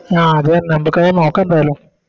ആ അതെന്നെ നമ്മക്കത് നോക്ക എന്തായാലും